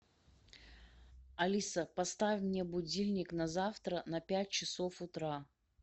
алиса поставь мне будильник на завтра на пять часов утра